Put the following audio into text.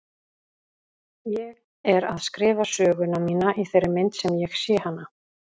Ég er að skrifa söguna mína í þeirri mynd sem ég sé hana.